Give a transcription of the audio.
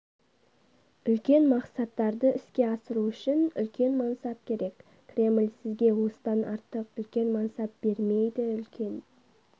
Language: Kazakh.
үлкен мақсаттарды іске асыру үшін үлкен мансап керек кремль сізге осыдан артық үлкен мансап бермейді үлкен